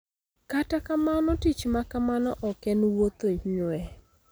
Kata kamano, tich ma kamano ok en wuotho nywee.